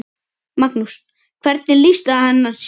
Magnús: Hvernig lýsti hann sér?